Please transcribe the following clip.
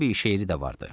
Təbii şeiri də vardır.